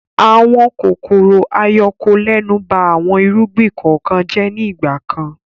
Àwọn kòkòrò-ayọkolẹ́nu ba àwọn irúgbìn kọ̀ọ̀kan jẹ́ ní ìgbà kan.